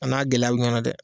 A n'a gɛlɛya bi ɲɔa na dɛ